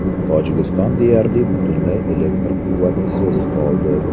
Tojikiston deyarli butunlay elektr quvvatisiz qoldi.